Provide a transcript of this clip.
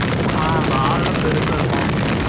ஆ வால்லாம் பெருசா இருக்கும்